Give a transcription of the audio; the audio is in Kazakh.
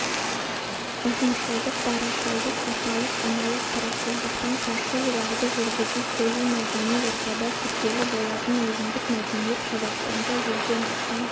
ұжымшылдық дарашылдық аталық-аналық тұрақсыздықтан қашу оларды жүргізу полимәдени ортада күрделі болатын өзіндік мәдениет қазақстанда жүзден астам